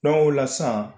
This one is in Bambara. o la sisan